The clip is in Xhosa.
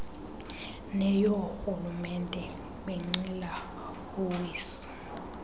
neyoorhulumente benqila uwiso